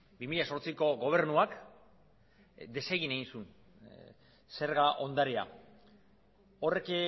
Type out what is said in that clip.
bi mila zortziko gobernuak desegin egin zuen zerga ondarea horrek